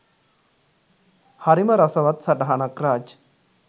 හරිම රසවත් සටහනක් රාජ්